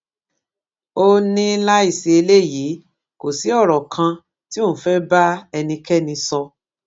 ó ní láì sí eléyìí kò sí ọrọ kan tí òun fẹẹ bá ẹnikẹni sọ